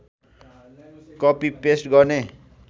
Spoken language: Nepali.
कपी पेस्ट गर्ने